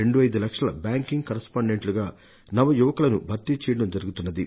25 లక్షల బ్యాంకింగ్ కరెస్పాండెంట్లుగా నవయువకులకు భర్తీ చేయడం జరుగుతున్నది